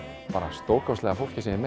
stórkostlega fólki sem ég